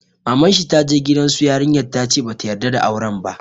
Maman shi ta je gidan su yarinya ta ce ba ta yarda da auren ba.